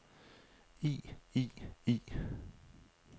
i i i